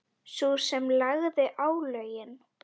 Sú sem lagði álögin?